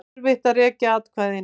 Erfitt að rekja atkvæðin